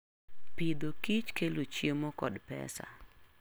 Pidho kich kelo chiemo kod pesa.